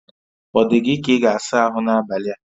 O dị gị ka ị ga-asa ahụ n'abalị a?